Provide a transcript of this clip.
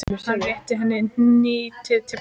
Hann rétti henni hnýtið til baka.